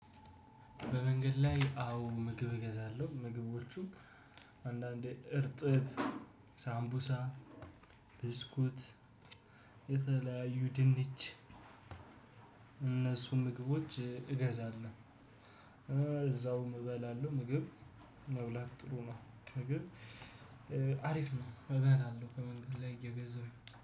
በመንገድ ላይ አዎ ምግብ እገዛለሁ ምግቦቹ አንዳንዴ እርጥብ ሳምቡሳ ብስኩት የተለያዩ ድንች እነሱን ምግቦች እገዛለሁ። እዛውም እበላለሁ። ምግብ መብላት ጥሩ ነው። ምግብ አሪፍ ነው እበላለሁ ከመንገድ ላይ እየገዛሁኝ።